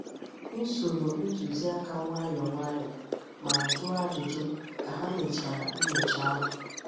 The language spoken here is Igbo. M soro ntuziaka nwayọọ nwayọọ ma jụọ ajụjụ ka ha mechara nyocha ahụ.